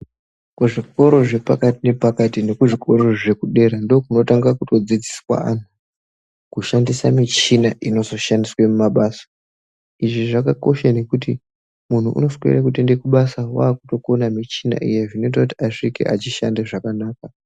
Kuzvikora zvepakati nepakati nekuzvikoro zvekudera ndokunotanga kutodzidziswa anhu kushandisa michina inozoshandiswe mumabasa, izvi zvakakosha nekuti munhu unoswere kutoende kubasa wakutokona michina zvinoite kuti asvike echishanda zvakanaka.